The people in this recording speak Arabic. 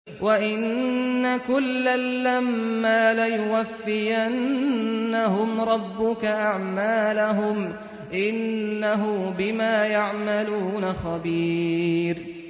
وَإِنَّ كُلًّا لَّمَّا لَيُوَفِّيَنَّهُمْ رَبُّكَ أَعْمَالَهُمْ ۚ إِنَّهُ بِمَا يَعْمَلُونَ خَبِيرٌ